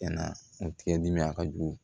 a ka jugu